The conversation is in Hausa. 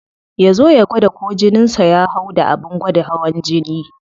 Ya zo ya gwada ko jinin sa ya hau da abin gwada hawan jini.